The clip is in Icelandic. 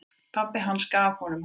Pabbi hans gaf honum hana.